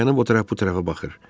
Dayanıb o tərəf, bu tərəfə baxır.